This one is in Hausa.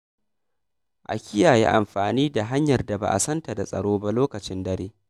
A kiyaye amfani da hanyar da ba a san ta da tsaro ba lokacin dare.